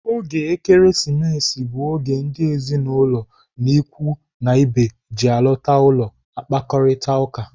Oge Ekeresimesi bụ oge ndị ezinụlọ na ikwu na ibe ji alọta ụlọ akparita ụka.